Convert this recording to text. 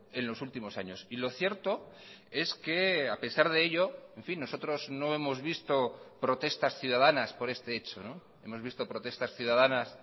en los últimos años y lo cierto es que a pesar de ello en fin nosotros no hemos visto protestas ciudadanas por este hecho hemos visto protestas ciudadanas